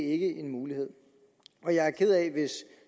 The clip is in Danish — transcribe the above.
ikke en mulighed jeg er ked af hvis